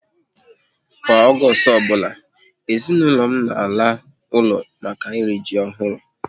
Kwa Ọgọọst ọbụla, ezinaụlọ m na ala ụlọ maka iri ji ọhụrụ